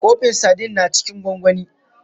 Kofin Sadin na cikin gwangwani.